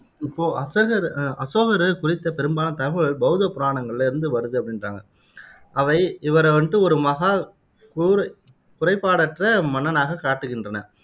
இப்போ அசோகர் குறித்த பெரும்பாலான தகவல் பௌத்த புராணங்களில இருந்து வருது அப்படின்றாங்க. அவை இவரை வந்து ஒரு மகா, குருவு குறைபாடற்ற மன்னனாகக் காட்டுகின்றன